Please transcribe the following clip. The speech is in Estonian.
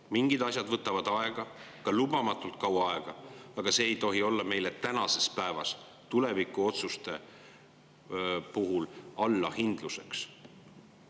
Mingid asjad võtavad aega, lubamatult kaua aega, aga see ei tohi olla meile tänases päevas tulevikuotsuste puhul allahindluseks.